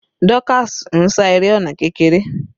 Dorcas ń sá eré ọ̀nà kékeré.